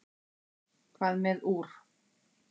hvað með úr